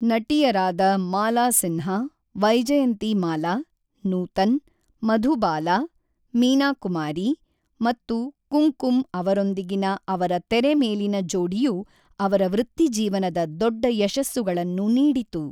ನಟಿಯರಾದ ಮಾಲಾ ಸಿನ್ಹಾ, ವೈಜಯಂತಿಮಾಲಾ, ನೂತನ್, ಮಧುಬಾಲಾ, ಮೀನಾ ಕುಮಾರಿ ಮತ್ತು ಕುಂಕುಮ್ ಅವರೊಂದಿಗಿನ ಅವರ ತೆರೆಮೇಲಿನ ಜೋಡಿಯು ಅವರ ವೃತ್ತಿಜೀವನದ ದೊಡ್ಡ ಯಶಸ್ಸುಗಳನ್ನು ನೀಡಿತು.